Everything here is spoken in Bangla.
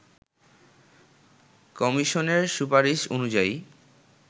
কমিশনের সুপারিশ অনুযায়ী